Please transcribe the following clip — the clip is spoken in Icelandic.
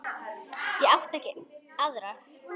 Ég átti ekki aðra.